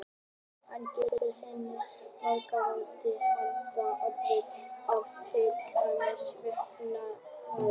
Hann getur á hinn bóginn varla mannfækkunar af öðrum ástæðum til dæmis vegna skæðra sjúkdóma.